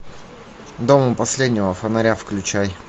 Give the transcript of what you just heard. дом у последнего фонаря включай